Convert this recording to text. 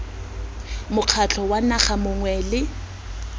mokgatlho wa naga mongwe le